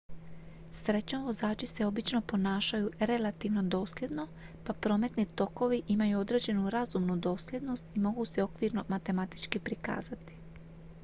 srećom vozači se obično ponašaju relativno dosljedno pa prometni tokovi imaju određenu razumnu dosljednost i mogu se okvirno matematički prikazati